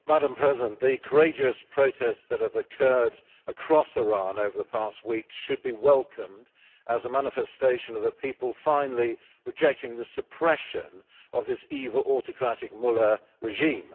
Madam President, the courageous protests that have occurred across Iran over the past week should be welcomed as a manifestation of a people finally rejecting the suppression of this evil, autocratic mullah regime.